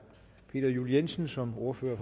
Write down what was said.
peter juel jensen som ordfører